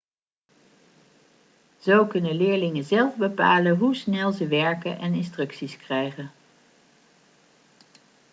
zo kunnen leerlingen zelf bepalen hoe snel ze werken en instructies krijgen